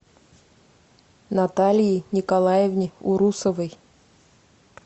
наталии николаевне урусовой